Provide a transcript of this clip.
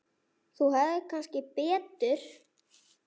Þú hefðir kannski betur